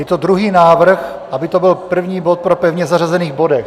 Je to druhý návrh, aby to byl první bod po pevně zařazených bodech.